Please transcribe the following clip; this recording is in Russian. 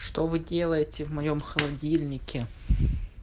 что вы делаете в моем холодильнике